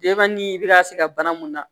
ni i bɛ ka se ka bana mun na